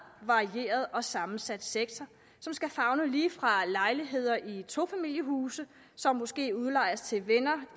varieret og sammensat sektor som skal favne alt lige fra lejligheder i tofamiliehuse som måske udlejes til venner